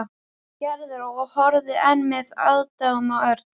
Gerður og horfði enn með aðdáun á Örn.